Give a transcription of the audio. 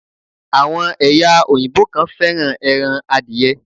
Àwon èyà òyìnbó kan féràn eran adiye